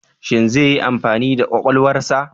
Shin zai yi amfani da kwakwalwarsa?